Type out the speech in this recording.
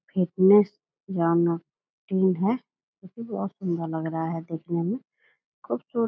fitness जोनो टीन है कुर्सी भी बहोत सुंदर लग रहा है देखने में खुबसुर --